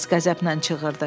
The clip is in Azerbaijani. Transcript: Sayks qəzəblə çığırdı.